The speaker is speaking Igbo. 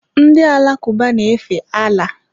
Ndị Alakụba na-efe Allah.